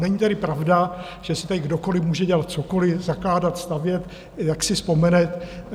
Není tedy pravda, že si tady kdokoliv může dělat cokoliv, zakládat, stavět, jak si vzpomene.